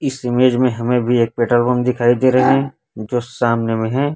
इस इमेज में हमें भी एक पेट्रोल पंप दिखाई दे रहे हैं जो सामने में हैं।